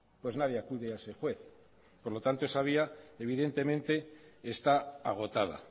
pues nadie acude a ese juez por lo tanto esa vía evidentemente está agotada